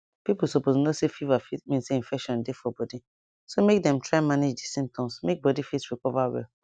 people suppose know say fever fit mean say infection dey for body so make dem try manage di symptoms make body fit recover well